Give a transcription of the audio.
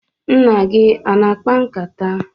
Nna gị ọ na-akpa nkata?